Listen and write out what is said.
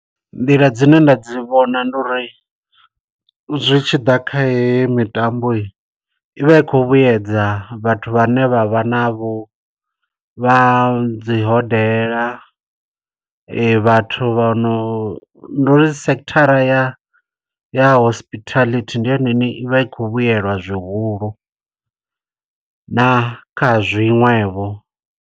Nḓila dzine nda dzi vhona ndi uri zwitshiḓa kha heyi mitambo, i vha i khou vhuyedza vhathu vhane vha vha na vho vha dzi hodela, vhathu vha no. Ndi uri sekhithara ya ya hospitality, ndi yone i ne i vha i khou vhuyelwa zwihulu na kha zwiṅwevho.